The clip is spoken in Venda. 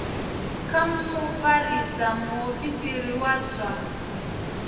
kha mufarisa muofisiri wa zwa